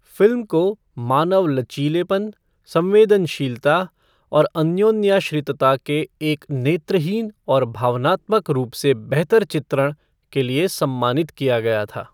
Film को "मानव लचीलापन, संवेदनशीलता और अन्योन्याश्रितता के एक नेत्रहीन और भावनात्मक रूप से बेहतर चित्रण" के लिए सम्मानित किया गया था।